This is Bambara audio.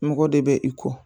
Mɔgɔ de bɛ i ko